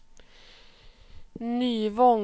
Nyvång